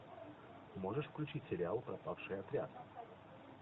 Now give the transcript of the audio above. можешь включить сериал пропавший отряд